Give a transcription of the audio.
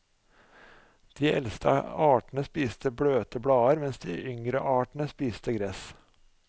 De eldste artene spiste bløte blader, mens de yngre artene spiste gress.